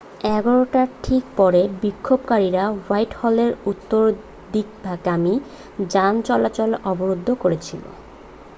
11:00 টার ঠিক পরে বিক্ষোভকারীরা হোয়াইটহলের উত্তরদিকগামি যানচলাচল অবরোধ করেছিল